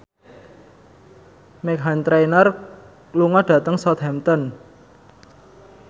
Meghan Trainor lunga dhateng Southampton